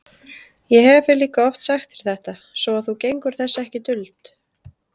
Ég hefi líka oft sagt þér þetta, svo að þú gengur þess ekki duld.